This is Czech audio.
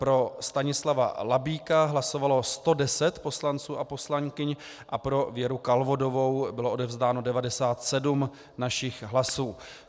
Pro Stanislava Labíka hlasovalo 110 poslanců a poslankyň a pro Věru Kalvodovou bylo odevzdáno 97 našich hlasů.